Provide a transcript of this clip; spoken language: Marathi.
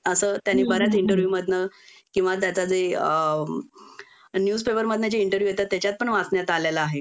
अस त्यानं बऱ्याच इंटरव्यू मधनं किंवा त्याच जे न्यूजपेपर मधनं जे इंटरव्यू येतात तेच्यात पण वाचण्यात आलेलं आहे